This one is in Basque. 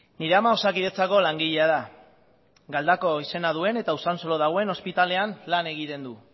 nire ama osakidetzako langilea da galdakao izena duen eta usansolon dagoen ospitalean lan egiten du